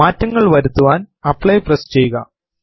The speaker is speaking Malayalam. മാറ്റങ്ങൾ വരുത്തുവാൻ ആപ്ലി പ്രസ് ചെയ്യുക